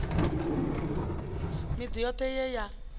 miḓi yothe ye ye ya